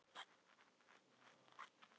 Bjöggi, hvaða mánaðardagur er í dag?